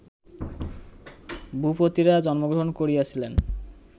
ভূপতিরা জন্মগ্রহণ করিয়াছিলেন